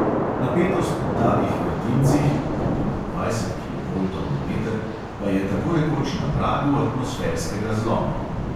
Napetost v takih vrtincih (tudi do dvajset kilovoltov na meter) pa je tako rekoč na pragu atmosferskega zloma.